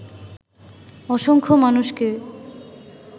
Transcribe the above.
অসংখ্য মানুষকে